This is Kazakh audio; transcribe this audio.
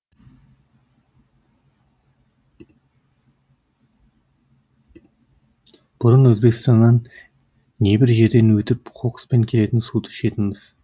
бұрын өзбекстаннан небір жерден өтіп қоқыспен келетін суды ішетінбіз